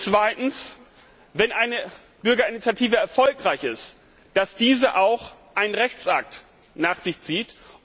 Zweitens Wenn eine Bürgerinitiative erfolgreich ist, sollte diese auch einen Rechtsakt nach sich ziehen.